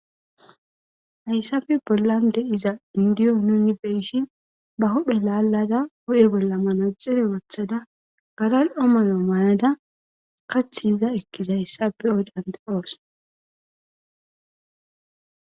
Hayisape bollan diza nuni be'ishin ba huphezan lalada huphe bolla manaxire wothaza gala'o mayo mayada kathi iza ekizayisa be'os gusi